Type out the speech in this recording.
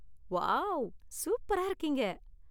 wow, சூப்பரா இருக்கீங்க